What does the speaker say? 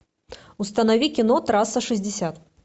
установи кино трасса шестьдесят